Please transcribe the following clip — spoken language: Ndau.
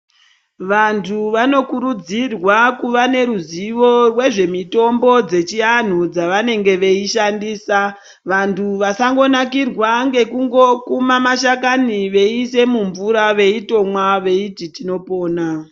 Vanthu vanokurudzirwa kuva neruzivo rwemitombo yechivanhu dzavanenge veishandisa kuti vasangonakirwa ngekukuma mashakani veisa mumvura veitomwa veiti tinopona.